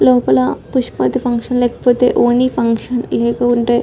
లోపల పుష్పవతి ఫంక్షన్ లేకపోతే ఓన్లీ ఫంక్షన్ లేకుంటే--